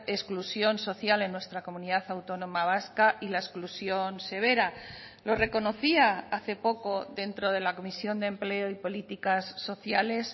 exclusión social en nuestra comunidad autónoma vasca y la exclusión severa lo reconocía hace poco dentro de la comisión de empleo y políticas sociales